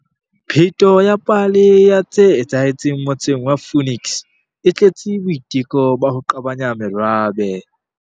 Pheto ya pale ya tse etsahetseng motseng wa Phoenix e tletse boiteko ba ho qabanya merabe.